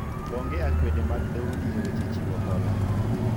onge akwede mag dhoudi e weche chiwo hola